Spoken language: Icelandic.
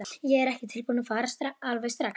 Ég er ekki tilbúinn að fara alveg strax.